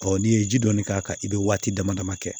Ɔ n'i ye ji dɔɔni k'a kan i bɛ waati dama dama kɛ